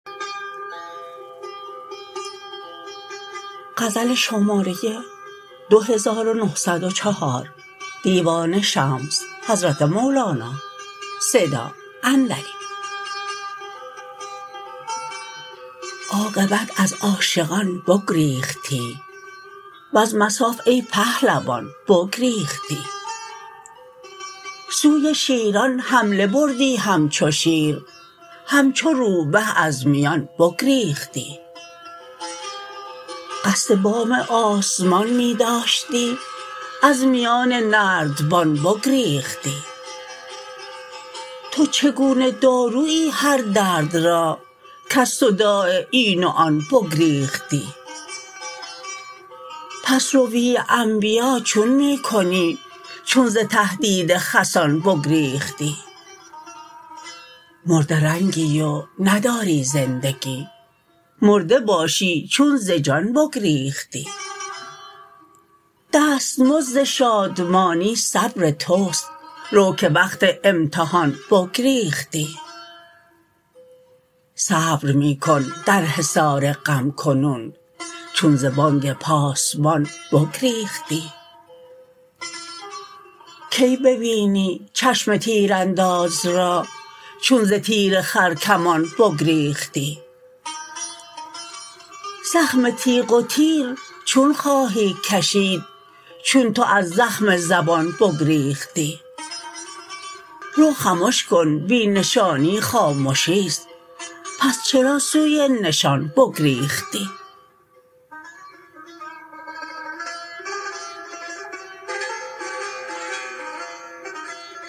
عاقبت از عاشقان بگریختی وز مصاف ای پهلوان بگریختی سوی شیران حمله بردی همچو شیر همچو روبه از میان بگریختی قصد بام آسمان می داشتی از میان نردبان بگریختی تو چگونه دارویی هر درد را کز صداع این و آن بگریختی پس روی انبیا چون می کنی چون ز تهدید خسان بگریختی مرده رنگی و نداری زندگی مرده باشی چون ز جان بگریختی دستمزد شادمانی صبر توست رو که وقت امتحان بگریختی صبر می کن در حصار غم کنون چون ز بانگ پاسبان بگریختی کی ببینی چشم تیرانداز را چون ز تیر خرکمان بگریختی زخم تیغ و تیر چون خواهی کشید چون تو از زخم زبان بگریختی رو خمش کن بی نشانی خامشی است پس چرا سوی نشان بگریختی